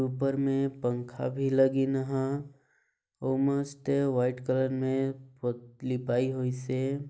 ऊपर में पंखा भी लागिन हा और मस्ते व्हाइट कलर में लिपाई होई से--